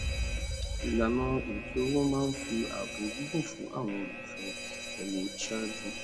ilana ètò owó máa ń fi ààbò gígùn fún àwọn olólùfé ẹni ṣáájú